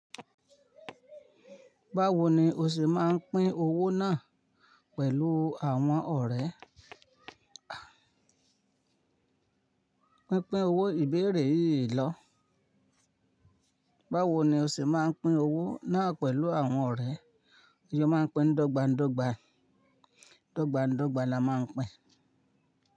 Báwo ni o ṣe máa ń pín owó náà pẹ̀lú àwọn ọ̀rẹ́? Pínpín owó ìbéèrè yìí lọ. Báwo ni o ṣe máa ń pín owó náà pẹ̀lú àwọn ọ̀rẹ́? Yó máa ń pín dọ́gba dọ́gba. Dọ́gba dọ́gba la máa ń pín.